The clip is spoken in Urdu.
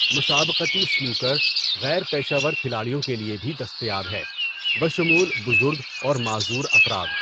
مسابقتی سنوکر غیر پیشہ ور کھلاڑیوں کے لیے بھی دستیاب ہے، بشمول بزرگ اور معذور افراد۔